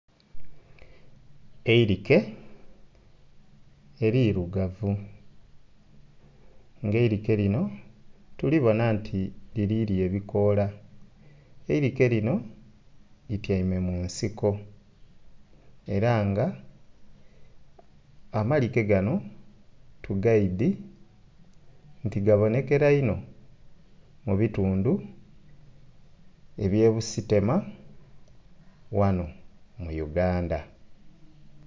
Eirike elirugavu nga eirike lino tuliboona nti liri lya ebikoola. Eirike lino litiame mu nsiko. Era nga amalike gano tugaidi nti gabonekera inho mu bitundu ebye Busitema ghano mu Uganda